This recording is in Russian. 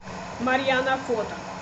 марьяна фото